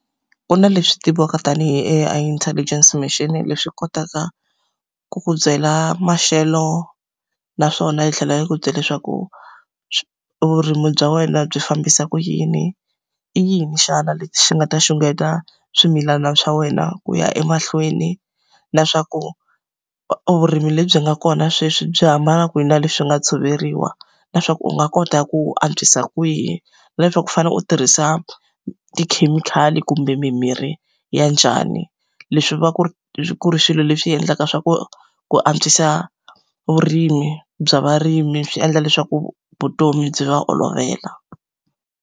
Ku na leswi tiviwaka tanihi A_I intelligence machine leswi kotaka ku ku byela maxelo, naswona yi tlhela yi ku byela leswaku vurimi bya wena byi fambisa ku yini, i yini xana lexi xi nga ta xungeta swimilana swa wena ku ya emahlweni, na leswaku vurimi lebyi nga kona sweswi byi hambana kwihi na leswi nga tshoveriwa, na leswaku u nga kota ku antswisa kwihi, na leswaku u fanele u tirhisa tikhemikhali kumbe mimirhi ya njhani. Leswi va ku ri ku ri swilo leswi endlaka swa ku ku antswisa vurimi bya varimi swi endla leswaku vutomi byi va olovela.